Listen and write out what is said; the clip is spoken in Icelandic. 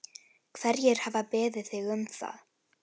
Hverjir hafa beðið þig um það?